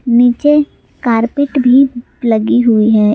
नीचे कारपेट भी लगी हुई है ।